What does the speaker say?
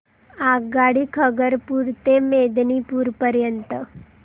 आगगाडी खरगपुर ते मेदिनीपुर पर्यंत